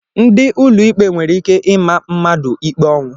Ndị ụlọikpe nwere ike ịma mmadụ ikpe ọnwụ